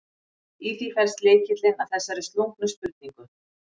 Í því felst lykillinn að þessari slungnu spurningu.